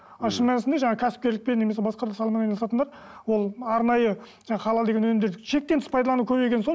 ал шын мәнісінде жаңағы кәсіпкерлікпен немесе басқа да саламен айналысатындар ол арнайы жаңағы халал деген өнімдер шектен тыс пайдалану көбейген соң